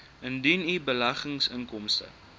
indien u beleggingsinkomste